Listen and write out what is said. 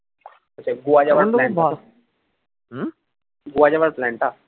গোয়া যাওয়ার plan টা